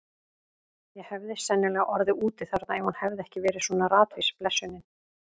Ég hefði sennilega orðið úti þarna ef hún hefði ekki verið svona ratvís, blessunin.